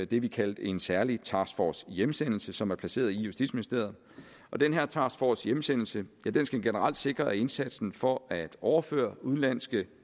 det vi kaldte en særlig task force hjemsendelse som er placeret i justitsministeriet og den her task force hjemsendelse skal generelt sikre at indsatsen for at overføre udenlandske